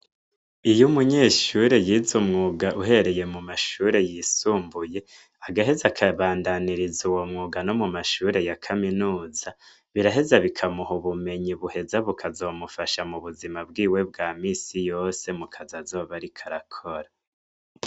Iyo umunyeshure yize umwuga uhereye mu mashure yisumbuye agaheza akabandaniriza uwo mwuga no mu mashure ya kaminuza biraheza bikamuha ubumenyi buheza bukazomufasha mu buzima bwiwe bwa minsi yose mu kazi azoba ariko arakora.